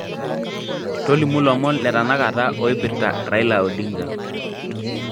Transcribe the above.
tolimu lomon letanakata oirpirta raila odinga